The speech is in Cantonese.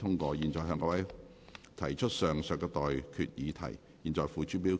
我現在向各位提出上述待決議題，付諸表決。